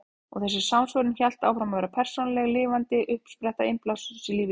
Og þessi samsvörun hélt áfram að vera persónuleg, lifandi uppspretta innblásturs í lífi mínu.